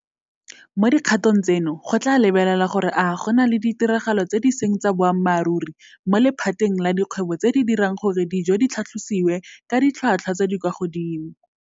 Mo dikgatong tseno go tla lebelelwa gore a go na le ditiragalo tse di seng tsa boammaruri mo lephateng la dikgwebo tse di dirang gore dijo di tlhatlhosiwe ka ditlhotlhwa tse di kwa godimo.